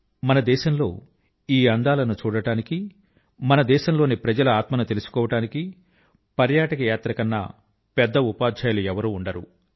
మన దేశం లో ఈ అందాలను చూడడానికి మన దేశం లోని జనాల ఆత్మ ను తెలుసుకోవడానికి టూరిజం యాత్ర వీటికన్నా పెద్ద ఉపాధ్యాయులు ఎవరూ ఉండరు